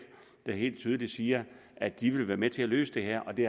der helt tydeligt siger at de vil være med til at løse det her det